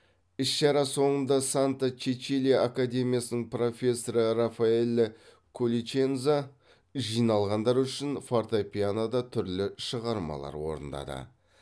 іс шара соңында санта чечилия академиясының профессоры рафаэлле колличенза жиналғандар үшін фортепианода түрлі шығармалар орындады